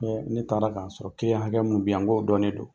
ne taara k'a sɔrɔ hakɛ munnu be yan n k'o dɔnnen don.